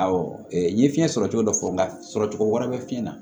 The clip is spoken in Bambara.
Awɔ n ye fiɲɛ sɔrɔ cogo dɔ fɔ n ka sɔrɔ cogo wɛrɛ bɛ fiɲɛ na